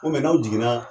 Ko n'aw jiginna